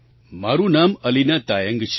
મારું નામ અલીના તાયંગ છે